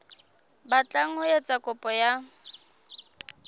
batlang ho etsa kopo ya